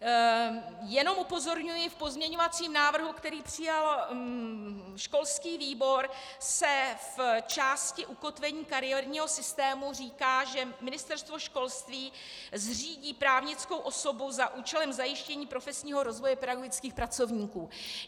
Jenom upozorňuji, v pozměňovacím návrhu, který přijal školský výbor, se v části ukotvení kariérního systému říká, že Ministerstvo školství zřídí právnickou osobu za účelem zajištění profesního rozvoje pedagogických pracovníků.